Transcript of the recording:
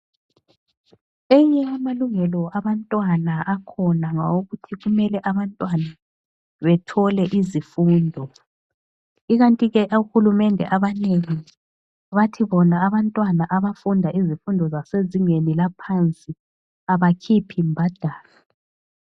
Enye yamalungelo abantwana akhona ngawokuthi kumele abantwana bathole izifundo. Ikanti ke ohulumende abanengi bathi bona abantwana abafunda izifundo zasezingeni laphansi abakhiphi mbadalo.